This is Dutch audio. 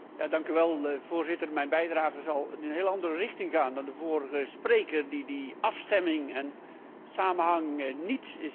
Voorzitter, mijn bijdrage zal in een heel andere richting gaan dan die van de vorige spreker, die deze afstemming en samenhang niet ziet zitten.